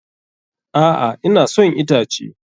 A'a, ina son itace.